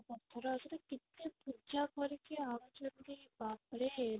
ପଥର ଆସୁଛି କେତେ ପୂଜା କରିକି ଆଣୁଛନ୍ତି ବାପରେ